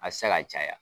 A tɛ se ka caya